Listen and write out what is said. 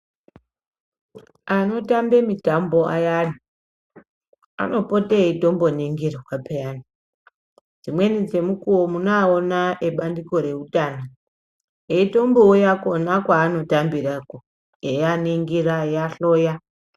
anotambe mitambo ayani anopota eitombo ningirwa peyani. Dzimweni dzemukuvo munoaona ebandiko reutano. Eitombo uya kona kwaanotambirako eianingira eiahloya.